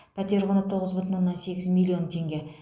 пәтер құны тоғыз бүтін оннан сегіз миллион теңге